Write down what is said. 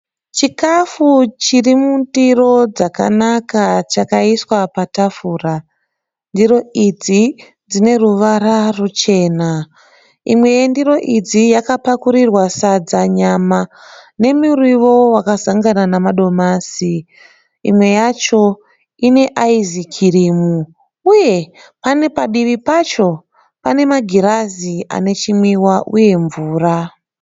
Chikafu chiri mundiro dzakanaka chakaiswa patafura. Ndiro idzi dzine ruvara ruchena. Imwe yendiro idzi yakapakurirwa sadza nyama nemuriwo wakazangana nemadomasi. Imwe yacho ine ayizikirimu uye pane padivi pacho pane magirazi ane chimwiwa uye mvura.